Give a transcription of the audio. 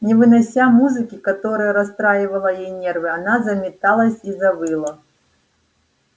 не вынося музыки которая расстраивала ей нервы она заметалась и завыла